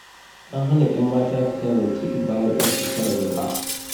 An hana 'yan mata fita zance bayan ƙarfe 9 na dare.